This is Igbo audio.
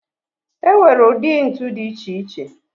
E nwere ụdị ntu dị iche iche